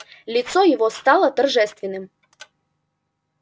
лицо его стало торжественным